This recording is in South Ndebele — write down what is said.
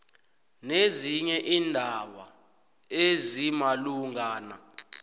nezinye iindaba ezimalungana